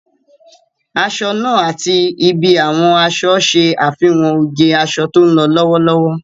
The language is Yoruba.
Aṣọ náà àti ibi àwọn aṣọ ṣe àfihàn oge aṣọ tó ń lọ lọ́wọ́lọ́wọ́